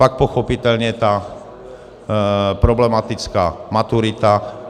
Pak pochopitelně ta problematická maturita.